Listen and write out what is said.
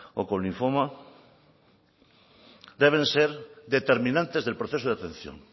o con linfoma deben ser determinantes del proceso de atención